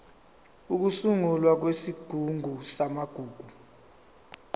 ukusungulwa kwesigungu samagugu